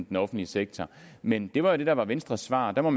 den offentlige sektor men det var jo det der var venstres svar og der må